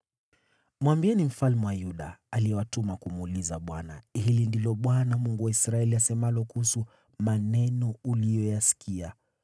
Mwambieni mfalme wa Yuda, ambaye amewatuma kumuuliza Bwana , ‘Hivi ndivyo asemavyo Bwana , Mungu wa Israeli kuhusu maneno uliyoyasikia: